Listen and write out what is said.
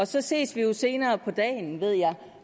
så ses vi jo senere på dagen ved jeg